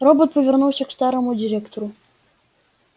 робот повернулся к старому директору